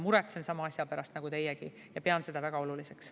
Muretsen sama asja pärast nagu teiegi ja pean seda väga oluliseks.